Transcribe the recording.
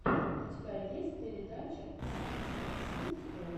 у тебя есть передача сисиси стор